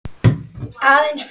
Aðeins fimm dagar.